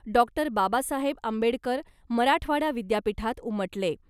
Doctor Babasaheb Ambedkar Marathwada विद्यापीठात उमटले .